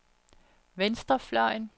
venstrefløjen